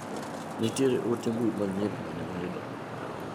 Nitiere ote mbui manyien mane wayudo.